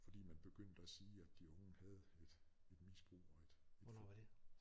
Fordi man begyndte at sige at de unge havde et et misbrug og et